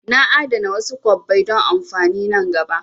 Na a'dana wasu kwabbai don amfani nan gaba